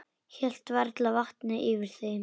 Hélt varla vatni yfir þeim.